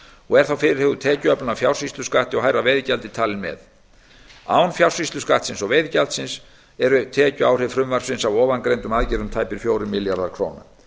og er þá fyrirhuguð tekjuöflun af fjársýsluskatti og hærra veiðigjaldi talin með án fjársýsluskattsins og veiðigjaldsins eru tekjuáhrif frumvarpsins af ofangreindum aðgerðum tæpir fjórir milljarðar króna